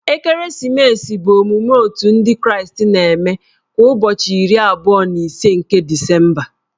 Ekeresimesi bụ emume Otù ndị kraịstị na-eme kwa ụbọchị iri abụọ na ise nke Disemba.